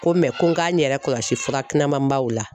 Ko ko n k'a n yɛrɛ kɔlɔsi fura kunamanbaw la